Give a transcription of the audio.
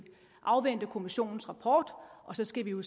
afvente kommissionens rapport og så skal vi jo